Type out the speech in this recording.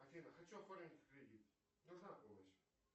афина хочу оформить кредит нужна помощь